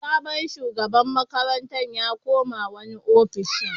Sabon shugaban makarantar ya koma wani ofishin.